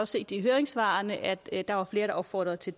set i høringssvarene at der var flere der opfordrede til